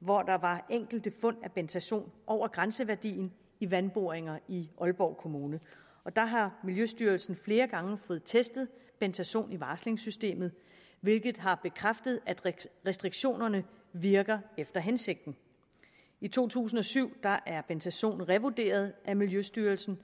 hvor der var enkelte fund af bentazon over grænseværdien i vandboringer i aalborg kommune der har miljøstyrelsen flere gange fået testet bentazon i varslingssystemet hvilket har bekræftet at restriktionerne virker efter hensigten i to tusind og syv er bentazon blevet revurderet af miljøstyrelsen